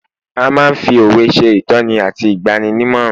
a ma n fi òwe se itoni ati igbaninimoran